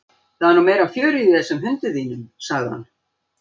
Það er nú meira fjörið í þessum hundi þínum sagði hann.